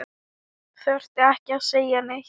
Þurfti ekki að segja neitt.